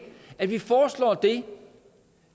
at de foreslår det